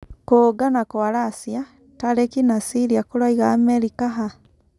Kũũngana kwa Racia, Tariki na cĩria kũraiga Amerika ha?